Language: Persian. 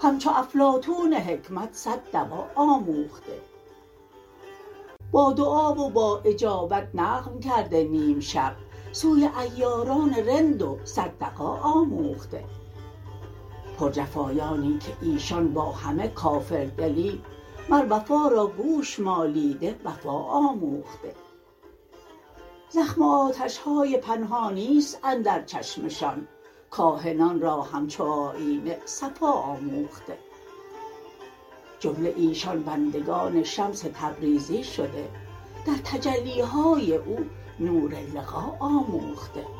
همچو افلاطون حکمت صد دوا آموخته با دعا و با اجابت نقب کرده نیم شب سوی عیاران رند و صد دغا آموخته پرجفایانی که ایشان با همه کافردلی مر وفا را گوش مالیده وفا آموخته زخم و آتش های پنهانی است اندر چشمشان کاهنان را همچو آیینه صفا آموخته جمله ایشان بندگان شمس تبریزی شده در تجلی های او نور لقا آموخته